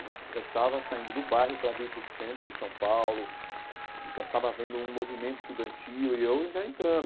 Eu já es já estava saindo do bairro para vir para o centro de São Paulo e já estava vendo um movimento estudantil e eu já entrando,